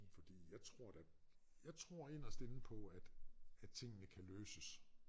Fordi jeg tror da jeg tror inderst inde på at at tingene kan løses